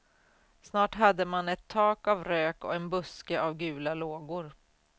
Snart hade man ett tak av rök och en buske av gula lågor.